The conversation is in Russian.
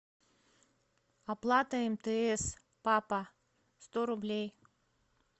оплата мтс папа сто рублей